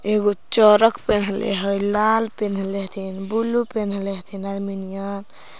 एगो चरक पेन्हले हई लाल पेन्हले हथीन ब्लू पेन्हले हथि अदमिनिया--